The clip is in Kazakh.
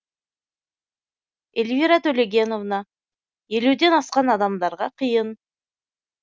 эльвира төлегеновна елуден асқан адамдарға қиын